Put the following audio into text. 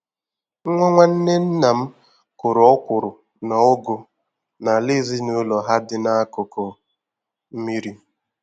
Nwa nwanne nna m kụrụ ọkwụrụ na Ụgụ n'ala ezinụlọ ha dị n'akụkụ mmiri.